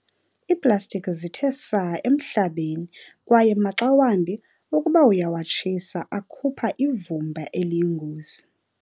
Iiplastiki zithe saa emhlabeni kwaye maxa wambi ukuba uyawatshisa akhupha ivumba eliyingozi.